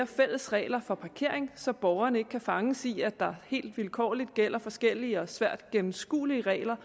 fælles regler for parkering så borgerne ikke kan fanges i at der helt vilkårligt gælder forskellige og svært gennemskuelige regler